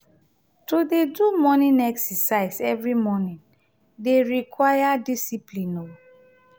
to dey do morning exercise every morning dey require discipline o.